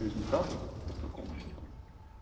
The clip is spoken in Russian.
по результату какому-то там